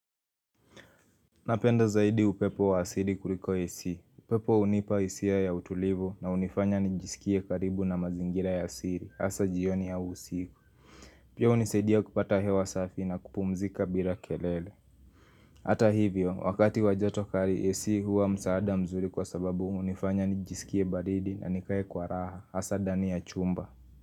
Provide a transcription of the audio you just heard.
Napenda zaidi upepo wa asiri kuliko AC, upepo unipa isia ya utulivu na unifanya nijisikie karibu na mazingira ya asiri, hasa jioni ya usiku Pia unisaidia kupata hewa safi na kupumzika bila kelele Hata hivyo, wakati wajoto kari AC huwa msaada mzuri kwa sababu unifanya nijisikie baridi na nikae kwa raha, hasa dani ya chumba.